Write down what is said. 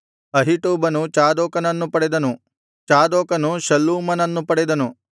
ಅಹೀಟೂಬನು ಚಾದೋಕನನ್ನು ಪಡೆದನು ಚಾದೋಕನು ಶಲ್ಲೂಮನನ್ನು ಪಡೆದನು